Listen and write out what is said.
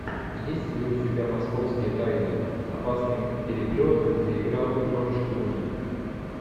есть ли у тебя московские тайны опасный переплет где играл джордж клуни